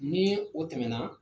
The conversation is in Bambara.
Ni o tɛmɛna